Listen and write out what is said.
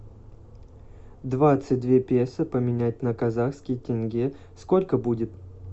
двадцать две песо поменять на казахский тенге сколько будет